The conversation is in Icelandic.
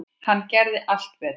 Hann gerði allt betra.